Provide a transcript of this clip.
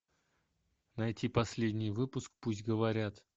найти последний выпуск пусть говорят